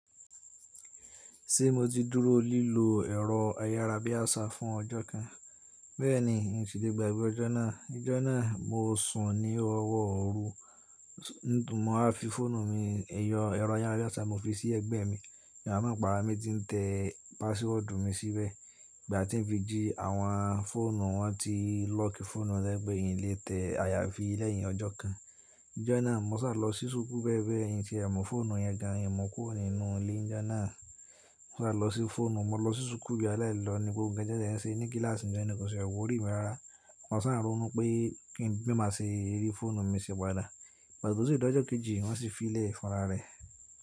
Ṣé mo ti dúró lílo ẹ̀rọ ayárabíàṣá fún ọjọ́ kan? Bẹ́ẹ̀ni, ǹṣì lé gbàgbé ọjọ́ náà. Nijọ́ náà mo sùn ní ọwọ́ òru, mo wá fi fóònù mi, ẹ̀yọ ẹ̀rọ ayárabíàṣá mo fi sí ẹ̀gbẹ́ mi. Mi wá mo pàrà mi ti ń tẹ pàsíwọ́ọ̀dù mi síbẹ̀. Ìgbà tí n fi jí àwọn fóònù, wọ́n ti lókì fóònù to je pe yín le tẹ ayafi lẹ́yìn ọjọ́ kan. Ọjọ́ náà, mo ṣà lọ sí ṣúkú bẹ̀bẹ̀ n ti e muǹ fóònù yẹn gan, n mu kú rọ̀ nínú ilé. Ọjọ́ náà, mo ṣà lọ sí fóònù, mo lọ sí ṣúkú bi alẹ́ẹ̀lọ́ ni gbogbo nkan ti wo ṣe ní kíláàsì ni jọ́ náà kò tiàwòrì mí rárá. Mo ṣà ronu pé ki fe màá ṣe rí fóònù mi ṣì padà. Pàṣítósì ọjọ́ kejì, wọ́n sì fi lẹ̀ fọnrá rẹ̀.